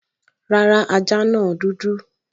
Rárá, ajá náà dúdú